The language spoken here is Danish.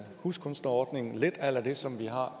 huskunstnerordning lidt a la det som vi har